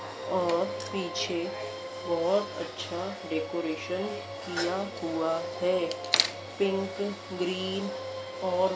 और पीछे बहोत अच्छा डेकोरेशन किया हुआ है पिंक ग्रीन और --